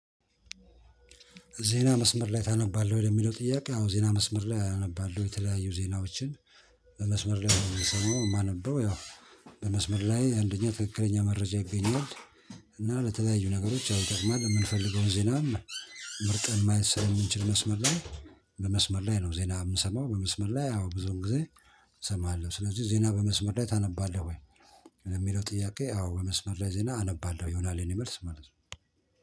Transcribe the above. ዜና መስመር ላይ ታነባለህ ወይ ለሚለው ጥያቄ? አዎ ዜና መስመር ላይ አነባለሁ የተለያዩ ዜናዎችን። በመስመር ላይ ነው የምንሰማው የማነበው ያው በመስመር ላይ አንደኛ ትክክለኛ መረጃ ይገኛል። እና ለተለያዩ ነገሮች ያው ይጠቅማል እምንፈልገውን ዜናም። መርጠን ማየት ስልምንችል መስመር ላይ። በመስመር ላይ ነው ዜና የምሰማው በመስመር ላይ ያው ብዙን ጊዜ እሰማለሁ። ስለዚህ ዜና በመስመር ላይ ታነባለህ ወይ? ለሚለው ጥያቄ አዎ በመስመር ላይ ዜና አነባለሁ ይሆናል የኔ መልስ ማለት ነው